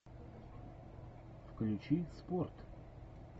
включи спорт